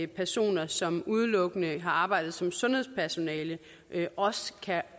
personer som udelukkende har arbejdet som sundhedspersonale også kan